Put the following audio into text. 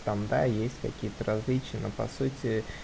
там да есть какие-то различия но по сути